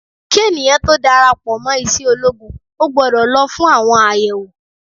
Kí ènìyàn tó dára pò mo iṣẹ́ ológun o gbọ́dọ̀ lọ fún àwọn àyẹ̀wò.